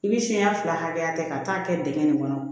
I bi siɲɛ fila hakɛya ta ka taa kɛ dingɛ nin kɔnɔ